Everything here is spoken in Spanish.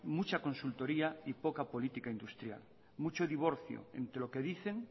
mucha consultoría y poca política industrial mucho divorcio entre lo que dicen